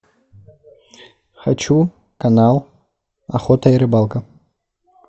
хочу канал охота и рыбалка